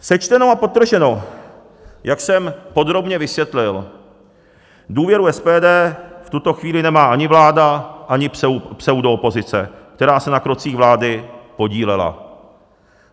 Sečteno a podrženo, jak jsem podrobně vysvětlil, důvěru SPD v tuto chvíli nemá ani vláda, ani pseudoopozice, která se na krocích vlády podílela.